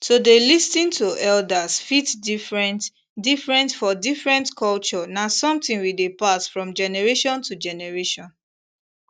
to dey lis ten to elders fit different different for different culture na something wey dey pass from generation to generation